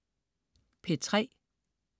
P3: